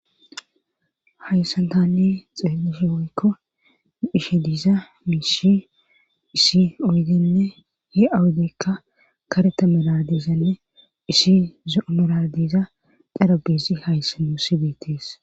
Hayssan tanne xeelishe hoykko hishe diiza miishi isi oydenne he awudeykka kareta meladizanne issi zoo meladiza darabesi haysse mou sibeetees.